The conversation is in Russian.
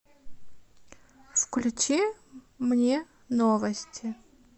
включи мне новости